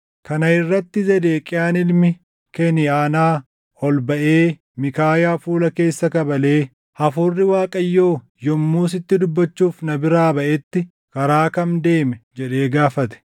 Kana irratti Zedeqiyaan ilmi Keniʼaanaa ol baʼee Miikaayaa fuula keessa kabalee, “Hafuurri Waaqayyoo yommuu sitti dubbachuuf na biraa baʼetti karaa kam deeme?” jedhee gaafate.